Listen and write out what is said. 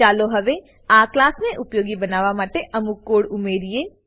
ચાલો હવે આ ક્લાસને ઉપયોગી બનાવવા માટે અમુક કોડ ઉમેરીએ